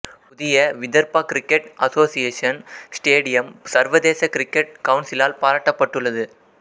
புதிய Vidarbha cricket association stadium சர்வதேச cricket கவுன்சிலால் பாராட்டப்பட்டுள்ளது